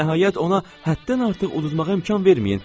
Hə, nəhayət, ona həddən artıq udmağa imkan verməyin.